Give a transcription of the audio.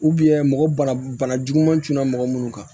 mɔgɔ bana juguman tun na mɔgɔ minnu kan